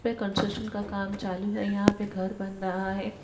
पे कंस्ट्रक्शन का काम चालू है। यहां पे घर बन रहा है।